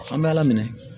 An bɛ ala minɛ